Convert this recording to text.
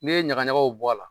N'i ye ɲagaɲagaw bɔ a la